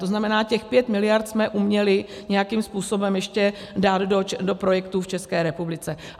To znamená, těch 5 mld. jsme uměli nějakým způsobem ještě dát do projektů v České republice.